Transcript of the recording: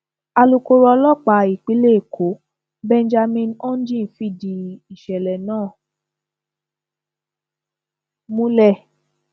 alūkkóró ọlọpàá ìpínlẹ èkó benjamin hondyin fìdí ìṣẹlẹ náà múlẹ